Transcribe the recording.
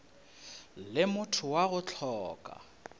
le motho wa go hloka